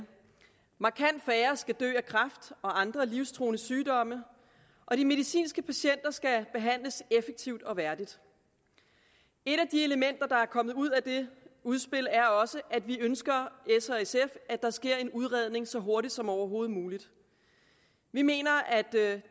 markant færre skal dø af kræft og andre livstruende sygdomme og de medicinske patienter skal behandles effektivt og værdigt et af de elementer der er kommet ud af det udspil er også at vi ønsker at der sker en udredning så hurtigt som overhovedet muligt vi mener at det